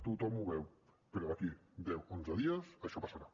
tothom ho veu però d’aquí a deu onze dies això passarà